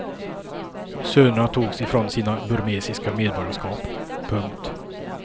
Sönerna togs ifrån sina burmesiska medborgarskap. punkt